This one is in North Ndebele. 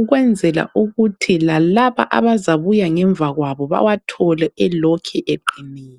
ukwenzela ukuthi lalaba abazabuya ngemvakwabo bawathole elokhe eqinile.